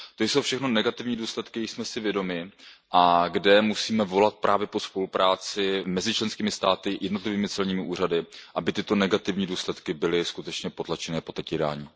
To jsou všechno negativní důsledky, jichž jsme si vědomi a kde musíme volat právě po spolupráci mezi členskými státy, jednotlivými celními úřady, aby tyto negativní důsledky byly skutečně potlačeny a potírány.